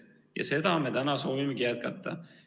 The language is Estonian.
Ja seda me täna soovimegi jätkata.